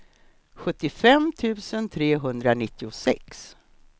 sjuttiofem tusen trehundranittiosex